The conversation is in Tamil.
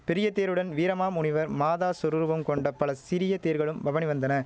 பெரிய தேருடன் வீரமாமுனிவர் மாதா சொரூபம் கொண்ட பல சிறிய தேர்களும் பவனி வந்தன